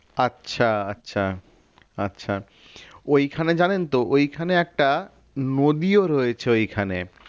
আচ্ছা আচ্ছা আচ্ছা ওইখানে জানেন তো ওইখানে একটা নদীও রয়েছে ওইখানে